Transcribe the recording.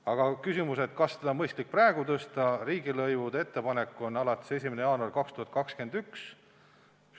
Aga kui küsimus on, kas seda on mõistlik praegu tõsta, siis need riigilõivud peaksid ettepaneku kohaselt jõustuma 1. jaanuaril 2021.